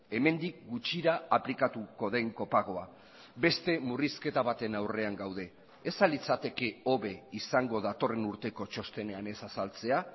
hemendik gutxira aplikatuko den kopagoa beste murrizketa baten aurrean gaude ez al litzateke hobe izango datorren urteko txostenean ez azaltzea